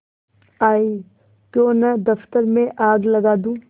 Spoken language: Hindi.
आयीक्यों न दफ्तर में आग लगा दूँ